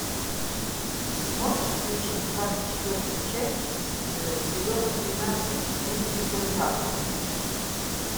можешь включить двадцать четвертую часть сезона тринадцать мир дикого запада